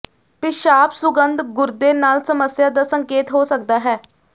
ਪਿਸ਼ਾਬ ਸੁਗੰਧ ਗੁਰਦੇ ਨਾਲ ਸਮੱਸਿਆ ਦਾ ਸੰਕੇਤ ਹੋ ਸਕਦਾ ਹੈ